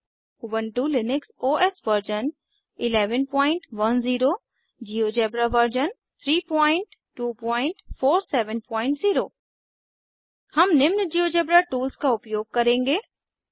Ubuntu Linux OS version 1110 GeoGebra version 32470 हम निम्न GeoGebra tools का उपयोग करेंगे